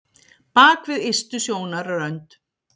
Bak við ystu sjónarrönd